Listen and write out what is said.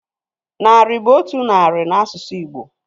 Narị bụ otu narị na asụsụ Igbo